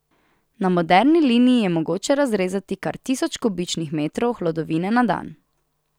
Na moderni liniji je mogoče razrezati kar tisoč kubičnih metrov hlodovine na dan.